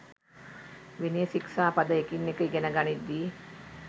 විනය ශික්ෂා පද එකින් එක ඉගෙන ගනිද්දී